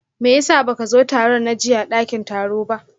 meyasa baka zo tarun na jiyya a dakin taro ba?